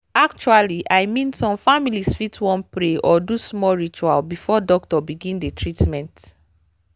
actually i mean some families fit wan pray or do small ritual before doctor begin the treatment.